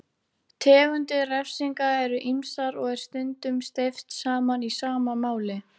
Finnst í suðurhluta Botsvana, norðanverðri Suður-Afríku og í Simbabve og Mósambík.